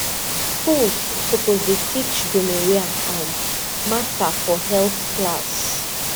schools suppose dey teach gonorrhea um matter for health class